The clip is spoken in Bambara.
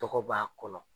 Tɔgɔ b'a kɔnɔ